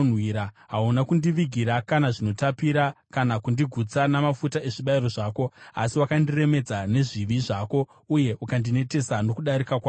Hauna kundivigira kana zvinotapira, kana kundigutsa namafuta ezvibayiro zvako. Asi wakandiremedza nezvivi zvako uye ukandinetesa nokudarika kwako.